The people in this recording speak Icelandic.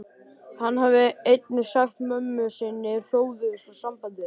Hann hafði einnig sagt mömmu sinni hróðugur frá sambandi þeirra